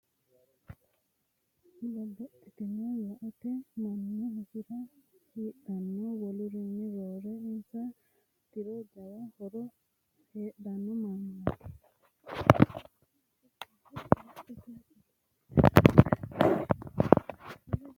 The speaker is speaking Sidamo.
Babbaxxitino laalote guma kone gamba assine worooniti no tene mannu hasira hidhano wolurinni roore insa intiro jawa horo heedhano mannimate .